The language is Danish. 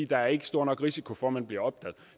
der er ikke stor nok risiko for at man bliver opdaget